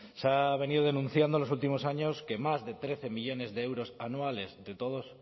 se ha venido denunciando en los últimos años que más de trece millónes de euros anuales de todos